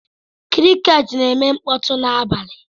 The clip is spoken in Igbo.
Crickets na-eme mkpọtụ n'abalị.